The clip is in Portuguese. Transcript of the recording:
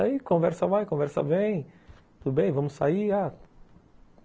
Aí conversa vai, conversa vem, tudo bem, vamos sair? ah,